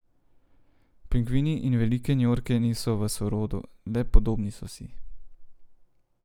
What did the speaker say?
Pingvini in velike njorke niso v sorodu, le podobni so si.